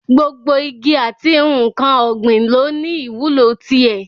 Gbogbo igi àti n̄ǹkan ọ̀gbìn lọ ní ìwúlò ti ẹ̀.